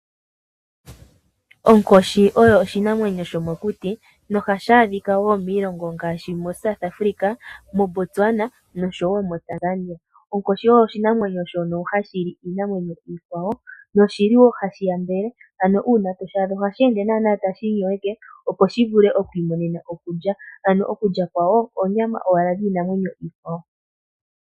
Onkoshi oyo oshinamwenyo shomokuti no hashi adhika miilongo ngaashi mo South Africa, mo Botswana nosho woo mo Tanzania. Onkoshi oyo oshinamwenyo shono hashi li iinamwenyo iikwawo , noshili woo hashi yambele. Ano uuna toshi adha ohashiende tashi inyoweke opo shi vule okwii monene okulya , ano okulya kwawo onyama ano yiinamwenyo ikwawo.